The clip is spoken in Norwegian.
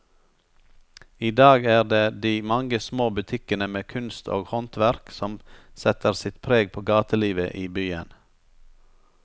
I dag er det de mange små butikkene med kunst og håndverk som setter sitt preg på gatelivet i byen.